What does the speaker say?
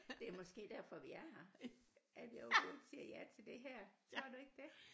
Det er måske derfor vi er her at jeg overhovedet siger ja til det her tror du ikke det